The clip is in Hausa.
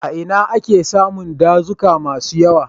A ina ake samun dazuka masu yawa?